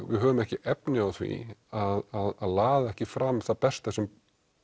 við höfum ekki efni á því að laða ekki fram það besta sem